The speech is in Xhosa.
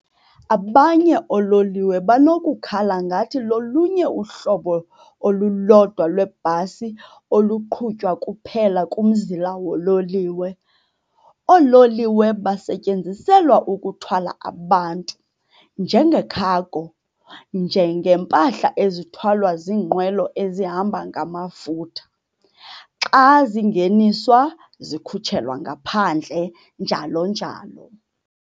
Abanye oololiwe banokukhala ngathi lolunye uhlobo olulodwa lwebhasi oluqhutywa kuphela kumzila woololiwe. Oololiwe basetyenziselwa ukuthwala abantu, njenge-cargo, njengeempahla ezithwalwa ziinqwelo ezihamba ngamafutha, xa zingeniswa - zikhutshelwa ngaphandle, njalo njalo.